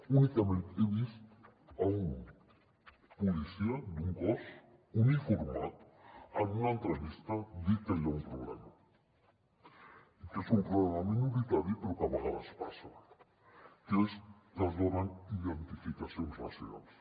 únicament he vist un policia d’un cos uniformat en una entrevista dir que hi ha un problema que és un problema minoritari però que a vegades passa que és que es donen identificacions racials